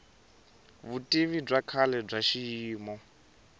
vutivi bya kahle bya xiyimo